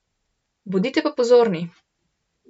Bodite pa pozorni!